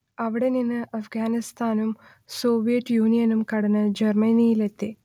അവിടെ നിന്ന് അഫ്ഗാനിസ്ഥാനും സോവിയറ്റ് യൂണിയനും കടന്ന് ജർമ്മനിയിലെത്തി